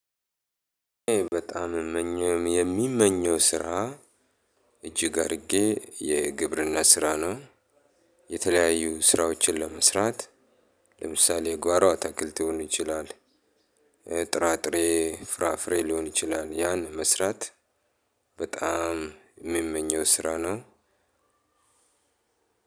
በጣምም ምመኘው የሚመኘው ስራ እጅግ አድርጌ የግብርና ስራ ነው። የተለየያዩ ስራዎች ለመስራት ለምሳሌ የጓሮ አትክልቱን ሊሆን ይችላል። ጥራጥሬ ፍራፍሬ ሊሆን ይችላል ያን መስራት። በጣም የሚመኘው ስራ ነው።